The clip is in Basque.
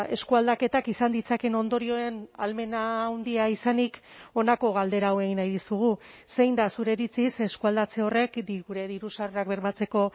eskualdaketak izan ditzakeen ondorioen ahalmena handia izanik honako galdera hau egin nahi dizugu zein da zure iritziz eskualdatze horrek gure diru sarrerak bermatzeko